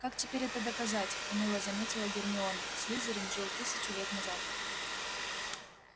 как теперь это доказать уныло заметила гермиона слизерин жил тысячу лет назад